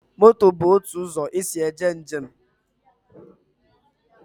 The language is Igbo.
Moto bụ otu ụzọ esi eje njem